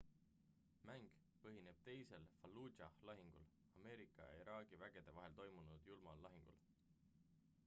mäng põhineb teisel fallujah' lahingul ameerika ja iraagi vägede vahel toimunud julmal lahingul